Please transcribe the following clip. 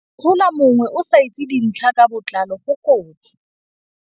Go atlhola mongwe o sa itse dintlha ka botlalo go kotsi.